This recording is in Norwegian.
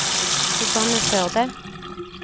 Susanne Førde